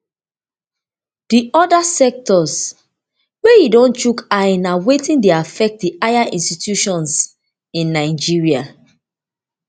di oda sector wey e don chook eye na wetin dey affect di higher institutions in nigeria